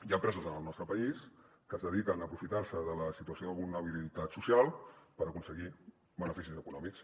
hi ha empreses en el nostre país que es dediquen a aprofitar se de la situació de vulnerabilitat social per aconseguir beneficis econòmics